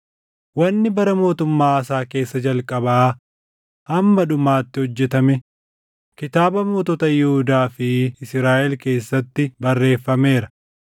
Wanni bara mootummaa Aasaa keessa jalqabaa hamma dhumaatti hojjetame kitaaba mootota Yihuudaa fi Israaʼel keessatti barreeffameera.